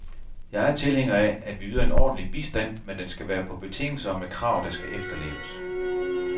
Jeg er tilhænger af, at vi yder en ordentlig bistand, men den skal være på betingelser og med krav, der skal efterleves.